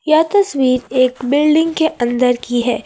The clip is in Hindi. यह तस्वीर एक बिल्डिंग के अंदर की है।